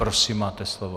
Prosím, máte slovo.